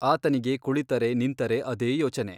ಆತನಿಗೆ ಕುಳಿತರೆ ನಿಂತರೇ ಅದೇ ಯೋಚನೆ.